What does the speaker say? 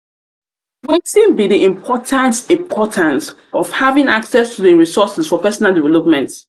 be di importance importance of having access to di resources for personal development?